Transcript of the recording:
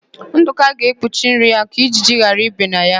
Udoka ga-ekpuchi nri ya ka ijiji ghara ibe na ya.